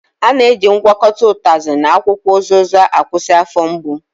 A na-eji ngwakọta utazi na akwukwo uziza akwụsị afọ mgbu